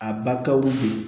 A ba kaw be yen